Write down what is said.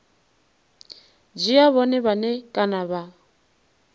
dzhia vhone vhane kana vha